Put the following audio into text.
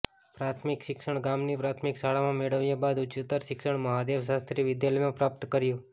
પ્રાથમિક શિક્ષણ ગામ ની પ્રાથમિક શાળામાં મેળવ્યા બાદ ઉચ્ચતર શિક્ષણ મહાદેવ શાસ્ત્રી વિદ્યાલયમાં પ્રાપ્ત કર્યું